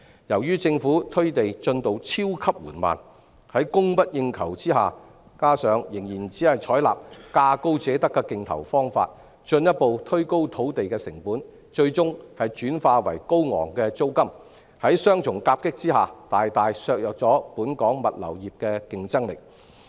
由於政府推地進度超級緩慢，在供不應求之下，加上政府仍然只採納價高者得的競投方法，土地成本進一步推高，最終轉化為高昂租金，在雙重夾擊下，大大削弱本港物流業的競爭力。